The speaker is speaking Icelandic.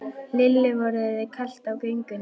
Lillu var orðið kalt á göngunni.